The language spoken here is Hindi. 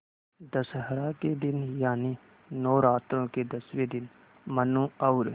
दशहरा के दिन यानि नौरात्रों के दसवें दिन मनु और